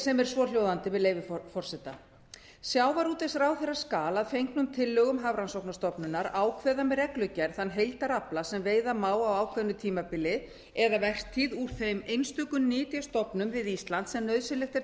sem er svohljóðandi með leyfi forseta sjávarútvegsráðherra skal að fengnum tillögum hafrannsóknastofnunar ákveða með reglugerð þann heildarafla sem veiða má á ákveðnu tímabili eða vertíð úr þeim einstöku nytjastofnum við ísland sem nauðsynlegt er